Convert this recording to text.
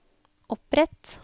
opprett